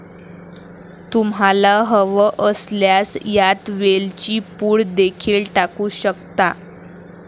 तुम्हाला हवं असल्यास यात वेलची पूड देखील टाकू शकता.